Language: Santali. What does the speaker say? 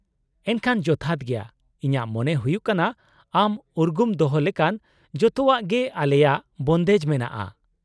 -ᱮᱱᱠᱷᱟᱱ ᱡᱚᱛᱷᱟᱛ ᱜᱮᱭᱟ ᱾ ᱤᱧᱟᱹᱜ ᱢᱚᱱᱮ ᱦᱩᱭᱩᱜ ᱠᱟᱱᱟ ᱟᱢ ᱩᱨᱜᱩᱢ ᱫᱚᱦᱚ ᱞᱮᱠᱟᱱ ᱡᱚᱛᱚᱣᱟᱜ ᱜᱮ ᱟᱞᱮᱭᱟᱜ ᱵᱚᱱᱫᱮᱡ ᱢᱮᱱᱟᱜᱼᱟ ᱾